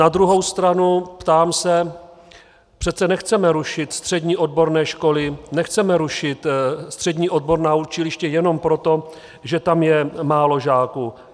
Na druhou stranu, ptám se, přece nechceme rušit střední odborné školy, nechceme rušit střední odborná učiliště jenom proto, že tam je málo žáků.